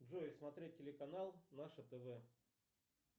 джой смотреть телеканал наше тв